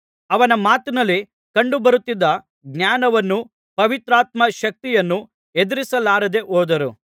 ಅವನ ಮಾತಿನಲ್ಲಿ ಕಂಡುಬರುತ್ತಿದ್ದ ಜ್ಞಾನವನ್ನೂ ಪವಿತ್ರಾತ್ಮ ಶಕ್ತಿಯನ್ನೂ ಎದುರಿಸಲಾರದೆ ಹೋದರು